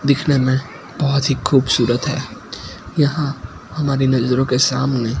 दिखने में बहोत ही खूबसूरत है यहां हमारी नजरों के सामने--